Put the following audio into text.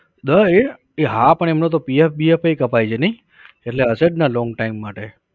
દ એ, એ હા પણ એમનો તો pf એ કપાય છે નઇ? એટલે હશે જ ને long time માટે